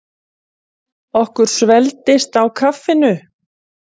Héðinn Íslandsmeistari í skák